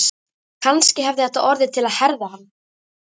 Kannski hafði þetta orðið til að herða hann.